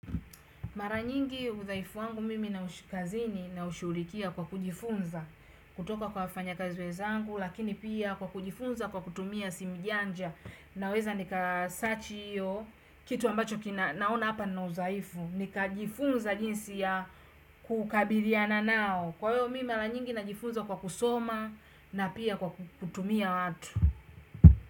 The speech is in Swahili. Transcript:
Mara nyingi udhaifu wangu mimi na ushikazini naushughulikia kwa kujifunza kutoka kwa wafanya kazi wezangu lakini pia kwa kujifunza kwa kutumia simujanja naweza nika search hiyo kitu ambacho naona hapa nina uzaifu nikajifunza jinsi ya kukabiliana nao kwa hiyo mimi mara nyingi najifunza kwa kusoma na pia kutumia watu.